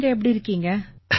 நீங்க எப்படி இருக்கீங்க